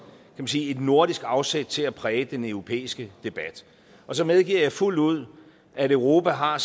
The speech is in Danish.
man sige et nordisk afsæt til at præge den europæiske debat så medgiver jeg fuldt ud at europa har